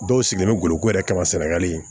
Dɔw sigilen goloko yɛrɛ kama senegali